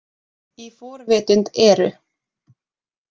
Í forvitund eru.